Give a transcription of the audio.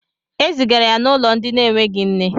Ezigara ya n'ulo ndi n'eweghi nne